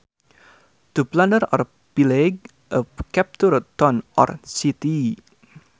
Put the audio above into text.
To plunder or pillage a captured town or city